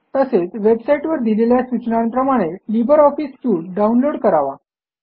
तसेच वेबसाईटवर दिलेल्या सूचनांप्रमाणे लिब्रे ऑफिस सूट डाऊनलोड करावा